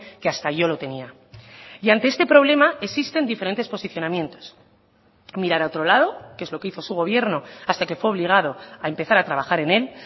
que hasta yo lo tenía y ante este problema existen diferentes posicionamientos mirar a otro lado que es lo que hizo su gobierno hasta que fue obligado a empezar a trabajar en él